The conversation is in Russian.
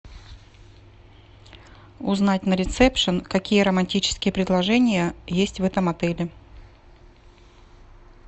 узнать на ресепшн какие романтические предложения есть в этом отеле